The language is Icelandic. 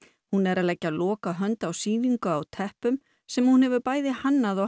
hún er að leggja lokahönd á sýningu á teppum sem hún hefur bæði hannað og